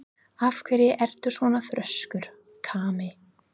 Af hverju ertu svona þrjóskur, Kamí?